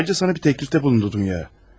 Ayrıca sənə bir təklifdə bulundu Duya.